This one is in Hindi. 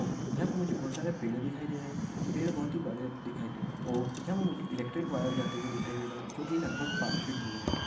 यहाँ पे मुझे बहुत सारे पेड़ दिखाई देर रहे है पेड़ बहुत ही बड़े दिखाई दे रहे है यहाँ पे मुझे बहुत ही इलेक्ट्रिक वायर जाते हुए दिखाई दे रहे है जो लगबग पाच फिट दूर है।